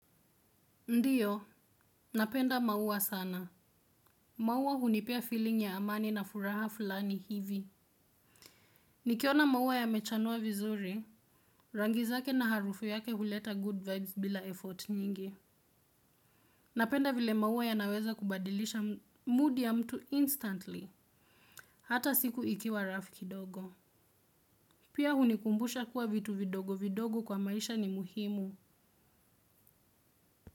Ndiyo, napenda maua sana. Maua hunipia feeling ya amani na furaha fulani hivi. Nikiona maua ya mechanua vizuri. Rangizake na harufu yake huleta good vibes bila effort nyingi. Napenda vile maua ya naweza kubadilisha mood ya mtu instantly. Hata siku ikiwa rough kidogo. Pia hunikumbusha kuwa vitu vidogo vidogo kwa maisha ni muhimu.